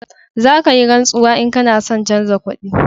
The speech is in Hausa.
Za ka yi rantsuwa in ka na son chanja suna